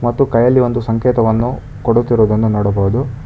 ಮತ್ತು ಕೈಯಲ್ಲಿ ಒಂದು ಸಂಕೇತವನ್ನು ಕೊಡುತ್ತಿರುವುದನ್ನು ನೋಡಬಹುದು.